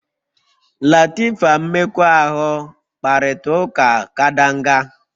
Latifa mmekọahụ kparịta ụka kadanga